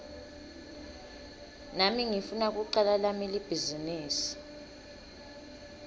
nami ngifuna kucala lami libhizinisi